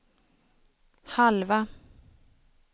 halva